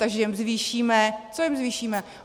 Takže jim zvýšíme - co jim zvýšíme?